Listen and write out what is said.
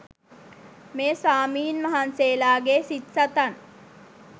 මේ ස්වාමීන් වහන්සේලාගේ සිත් සතන්